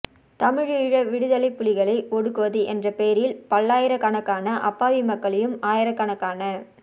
தமிழீழ விடுதலை புலிகளை ஒடுக்குவது என்ற பெயரில் பல்லாயிரக்கணக்கான அப்பாவி மக்களையும் ஆயிரக்கணக்கான